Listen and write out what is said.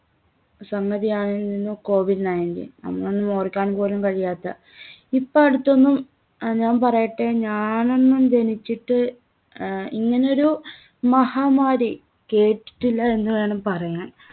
സംഗതിയായിരുന്നു covid nineteen. നമ്മളൊന്നും ഓർക്കാൻ പോലും കഴിയാത്ത ഇപ്പോ അടുത്തൊന്നും അഹ് ഞാൻ പറയട്ടെ ഞാനൊന്നും ജനിച്ചിട്ട് അഹ് ഇങ്ങനൊരു മഹാമാരി കേട്ടിട്ടില്ല എന്നുവേണം പറയാൻ.